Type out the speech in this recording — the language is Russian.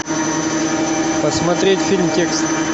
посмотреть фильм текст